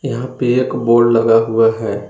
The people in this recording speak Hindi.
यहां पे एक बोर्ड लगा हुआ है।